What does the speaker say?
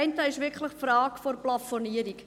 Der eine ist wirklich die Frage der Plafonierung.